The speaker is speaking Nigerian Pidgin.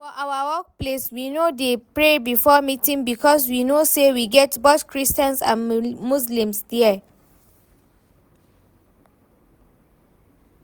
For our workplace we no dey pray before meeting because we know say we get both christians and muslims there